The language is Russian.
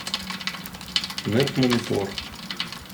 нетмонитор